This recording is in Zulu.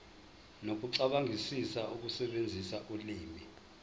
nokucabangisisa ukusebenzisa ulimi